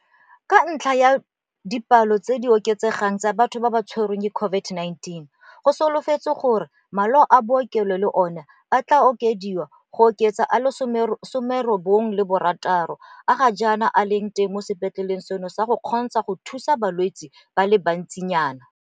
Ka ntlha ya dipalo tse di oketsegang tsa batho ba ba tshwarwang ke COVID-19, go solofetswe gore le malao a bookelo le ona a tla okediwa go oketsa a le 96 a ga jaana a leng teng mo sepetleleng seno go se kgontsha go thusa balwetse ba le bantsinyana.